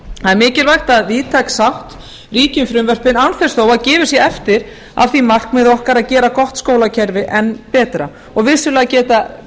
er mikilvægt að víðtæk sátt ríki um frumvörpin án þess þó að gefið sé eftir af því markmiði okkar að gera gott skólakerfi enn betra og vissulega geta